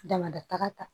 Damada taga ta